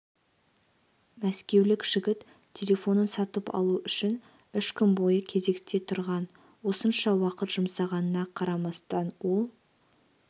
мәскеулік жігіт телефонын сатып алу үшін үш күн бойы кезекте тұрған осынша уақыт жұмсағанына қарамастан ол